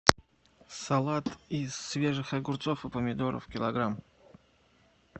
салат из свежих огурцов и помидоров килограмм